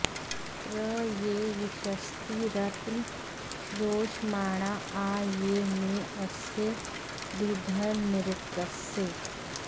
प्र ये विशस्तिरन्त श्रोषमाणा आ ये मे अस्य दीधयन्नृतस्य